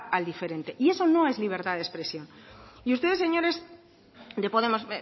al diferente y eso no es libertad de expresión y ustedes señores de podemos